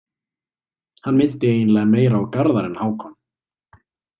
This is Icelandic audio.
Hann minnti eiginlega meira á Garðar en Hákon.